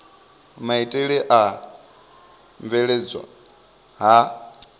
maitele a u bveledzwa ha